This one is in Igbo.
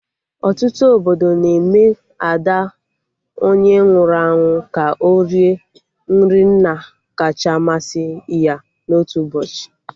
Ọtụtụ obodo na-eme Ada onye nwụrụ anwụ ka o rie nri nna kacha masị ya na otu ụbọchị